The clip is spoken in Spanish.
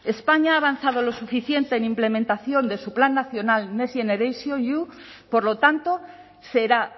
españa ha avanzado lo suficiente en implementación de su plan nacional next generationeu por lo tanto será